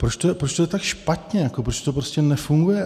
Proč to je tak špatně, proč to prostě nefunguje.